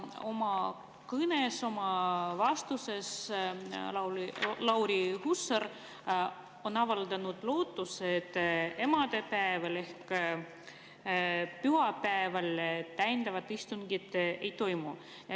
Oma vastuses avaldas Lauri Hussar lootust, et emadepäeval ehk pühapäeval täiendavat istungit ei toimu.